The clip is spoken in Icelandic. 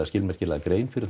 skilmerkilega grein fyrir